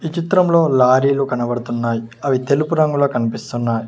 ఈ చిత్రంలో లారీలు కనపడుతున్నాయ్ అవి తెలుపు రంగులో కనిపిస్తున్నాయ్.